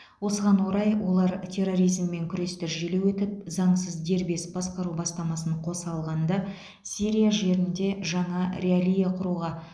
осыған орай олар терроризммен күресті желеу етіп заңсыз дербес басқару бастамасын қоса алғанда сирия жерінде жаңа реалия құруға